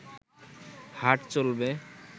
হাট চলবে